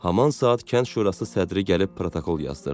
Haman saat Kənd Şurası sədri gəlib protokol yazdırdı.